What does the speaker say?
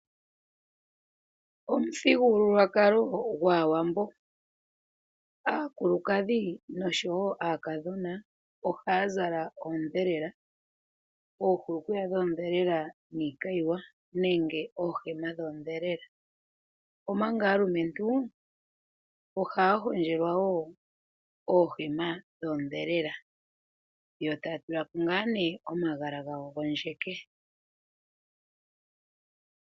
Omuthigululwakalo gwAawambo. Aakulukadhi noshowo aakadhona ohaya zala oondhelela, oohulukweya dhoondhelela niikayiwa nenge oohema dhoondhelela, omanga aalumentu ohaya hondjelwa wo oohema dhoondhelela yo taya tula ko nduno omagala gawo gondjeke.